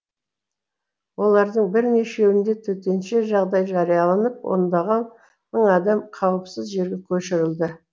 олардың бірнешеуінде төтенше жағдай жарияланып ондаған мың адам қауіпсіз жерге көшірілді